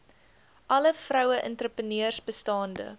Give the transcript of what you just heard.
alle vroueentrepreneurs bestaande